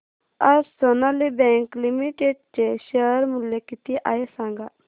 आज Sonali bank limited चे share मूल्य किती आहे सांगा